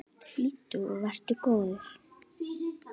Hlýddu og vertu góður!